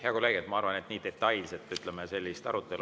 Hea kolleeg, ma arvan, et nii detailselt sellist arutelu …